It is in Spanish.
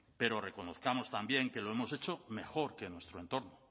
pero reconozcamos también que lo hemos hecho mejor que nuestro entorno